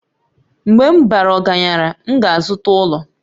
Mgbe m bara ọgaranya, m ga-azụta ụlọ